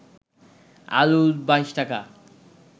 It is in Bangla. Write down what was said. আলু ২২ টাকা